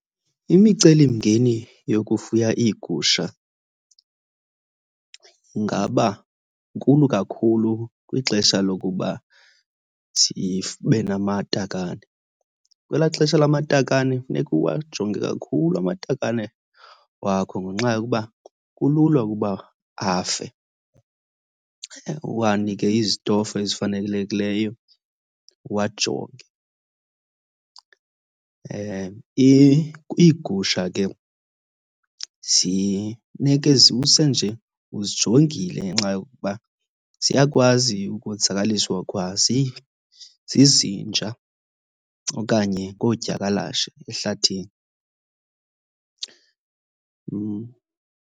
Imicelimngeni yokufuya iigusha ingaba nkulu kakhulu kwixesha lokuba sibe namatakane. Kwelaa xesha lamatakane kufuneka uwajonge kakhulu amatakane wakho ngenxa yokuba kulula ukuba afe. Uwanike izitofu ezifanelekileyo, uwajonge. Iigusha ke nje uzijongile ngenxa yokuba ziyakwazi ukonzakaliswa kwa zizinja okanye ngoodyakalashe ehlathini. .